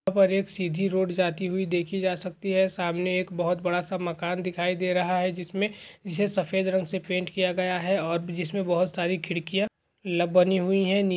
यहां पर एक सीधी रोड जाती हुई देखी जा सकती है सामने एक बहुत बड़ा सा मकान दिखाई दे रहा है जिसमे जिसे सफेद रंग से पेंट किया गया है और ब-- जिसमें बहुत सारी खिड़कियां ल-- बनी हुई है नी--